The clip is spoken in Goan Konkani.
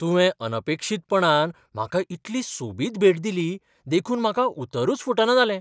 तुवें अनपेक्षीतपणान म्हाका इतली सोबीत भेट दिली देखून म्हाका उतरूच फुटना जालें.